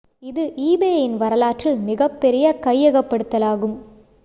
இது ebay-இன் வரலாற்றில் மிகப்பெரிய கையகப்படுத்தலாகும்